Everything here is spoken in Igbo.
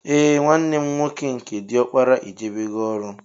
Ee nwanne mụ nwoke nke diọkpara ejebego ọrụ